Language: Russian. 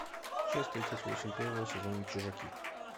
часть тридцать восемь первого сезона чужаки